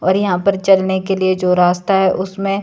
और यहां पर चलने के लिए जो रास्ता है उसमें--